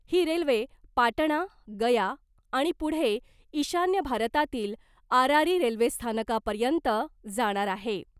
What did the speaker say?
ही railway Patna , Gaya आणि पुढे ईशान्य भारतातील आरारी रेल्वेस्थानकापर्यंत जाणार आहे .